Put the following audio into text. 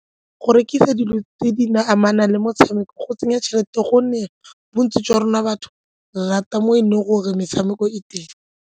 Go rekisa dilo tse di amanang le motshameko go tsenya tšhelete gonne bontsi jwa rona batho re rata mo e leng gore metshameko e teng.